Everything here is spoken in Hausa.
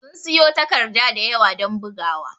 Sun siƴo takarɗa ɗayawa don ɓugawa.